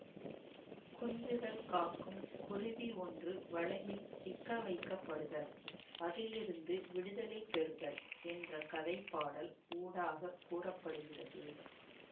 குஞ்சுகள் காக்கும் குருவி ஒன்று வலையில் சிக்கவைக்கப்படுதல் அதில் இருந்து விடுதலை பெறுதல் என்ற கதை பாடல் ஊடாகக் கூற படுகிறது